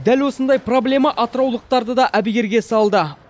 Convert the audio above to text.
дәл осындай проблема атыраулықтарды да әбігерге салды